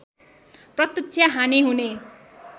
प्रत्यक्ष हानि हुने